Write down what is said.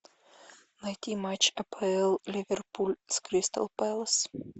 найти матч апл ливерпуль с кристал пэлас